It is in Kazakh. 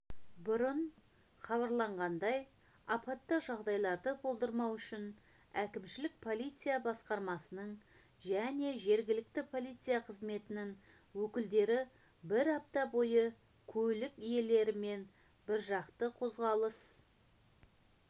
бұрын хабарланғандай апатты жағдайларды болдырмау үшін әкімшілік полиция басқармасының және жергілікті полиция қызметінің өкілдері бір апта бойы көлік иелерімен біржақты қозғалыс